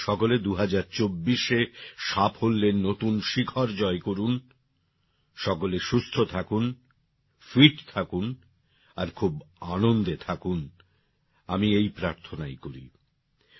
আপনারা সকলে ২০২৪এ সাফল্যের নতুন শিখর জয় করুন সকলে সুস্থ থাকুন ফিট থাকুন আর খুব আনন্দে থাকুন আমি এই প্রার্থনাই করি